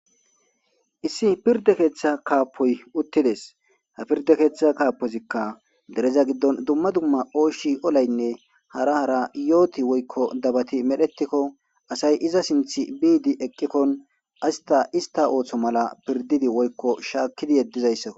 Issi pirda keeththa kaapoy uttides ha pirda keeththa kaapozikka dereza giddon dumma dumma ooshi olaynne hara hara yooti woykko dabati medhetikko asay iza sinth biidi eqqikkon asta ista ooththo mala pirdidi woykko shaakkidi yeddizayssao